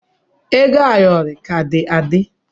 Ego ayọrọ ọ ka dị adị.